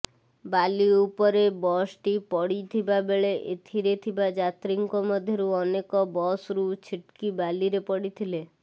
ବାଲି ଉପରେ ବସ୍ଟି ପଡି ଥିବାବେଳେ ଏଥିରେ ଥିବା ଯାତ୍ରୀଙ୍କ ମଧ୍ୟରୁ ଅନେକ ବସ୍ରୁ ଛିଟ୍କି ବାଲିରେ ପଡିଥିଲେ